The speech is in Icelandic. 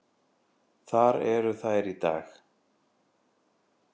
Þar eru þær í dag.